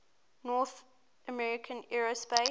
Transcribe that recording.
north american aerospace